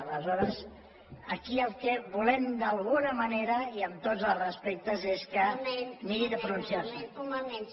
aleshores aquí el que volem d’alguna manera i amb tots els respectes és que miri de pronunciar se